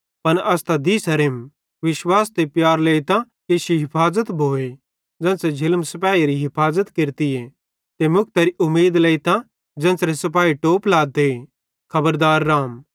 पन अस त दीसेरेम विश्वास ते प्यार लेइतां कि इश्शी हिफाज़त भोए ज़ेन्च़रे झिलम सिपाहेरी हिफाज़त केरतीए ते मुक्तरे उमीद लेइतां ज़ेन्च़रे सिपाही टोप लाते खबरदार रहम